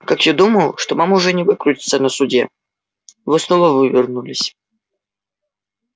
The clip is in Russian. как я думал что вам уже не выкрутиться на суде вы снова вывернулись